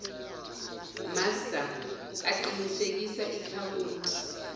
master aqinisekisa ikhawunti